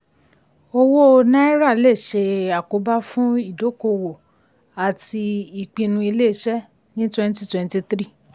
ọ̀wọ́n náírà le ṣe àkóbá fún ìdókòwò àti ìpinnu iléeṣẹ́ ní twenty twenty three twenty twenty three twenty twenty three.